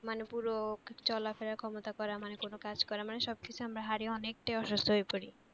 মানে পুরো চলাফেরার ক্ষমতা করা মানে কোন কাজ করা মানে সব কিছু আমরা হারিয়ে অনেক টা অসুস্থ হয়ে পরি।